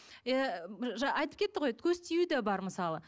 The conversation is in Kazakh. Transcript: ы айтып кетті ғой көз тию де бар мысалы